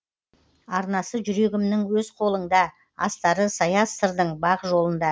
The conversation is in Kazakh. арнасы жүрегімнің өз қолыңда астары саяз сырдың бақ жолында